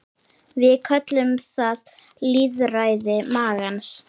Við köllum það lýðræði magans.